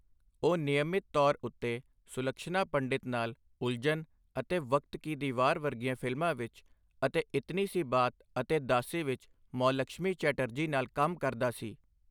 ਉਹ ਨਿਯਮਿਤ ਤੌਰ ਉੱਤੇ ਸੁਲਕਸ਼ਨਾ ਪੰਡਿਤ ਨਾਲ ਉਲਝਨ ਅਤੇ ਵਕਤ ਕੀ ਦੀਵਾਰ ਵਰਗੀਆਂ ਫਿਲਮਾਂ ਵਿੱਚ ਅਤੇ ਇਤਨੀ ਸੀ ਬਾਤ ਅਤੇ ਦਾਸੀ ਵਿੱਚ ਮੌਲਕਸ਼ਮੀ ਚੈਟਰਜੀ ਨਾਲ ਕੰਮ ਕਰਦਾ ਸੀ।